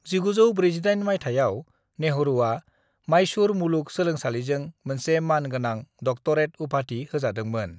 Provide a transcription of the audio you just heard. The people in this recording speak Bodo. "1948 माइथायाव, नेहरूआ माइसूर मुलुग सोलोंसालिजों मोनसे मान गोनां डक्टरेट उपाधि होजादोंमोन।"